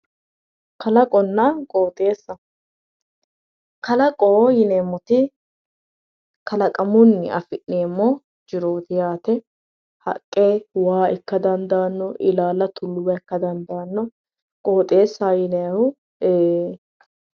Kalaqonna qooxeessa, kalaqo yineemmoti kalaqamunni afi'neemmo jirooti yaate haqqe ikko waa ikka dandaanno, ilaala tullo ikka dandaanno, qooxeessa yinayihu ee